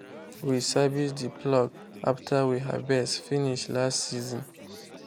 we service the plough after we harvest finish last season.